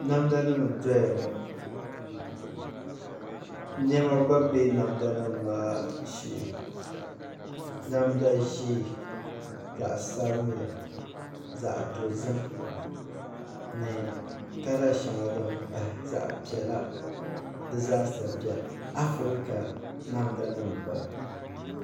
Namda nim n doya ŋɔ niɛma gba bɛ namda nim maa shee namda ʒiɛ zaɣ sabinli zaɣ dozim ni kala shɛŋa din pahi zaɣ piɛla di zaasa biɛni afirika namda nim n bala